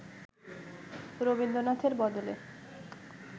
রবীন্দ্রনাথের বদলে